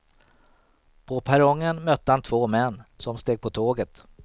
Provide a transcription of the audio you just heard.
På perrongen mötte han två män, som steg på tåget.